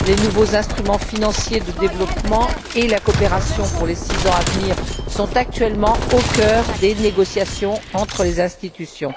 Les nouveaux instruments financiers de développement et la coopération pour les six ans à venir sont actuellement au cœur des négociations entre les institutions.